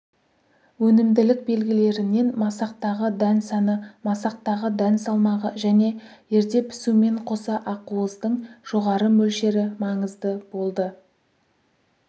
өнімділік белгілерінен масақтағы дән саны масақтағы дән салмағы және ерте пісумен қоса ақуыздың жоғары мөлшері маңызды болды